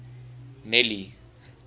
nelly